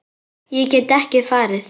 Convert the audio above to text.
Ég get ekki farið.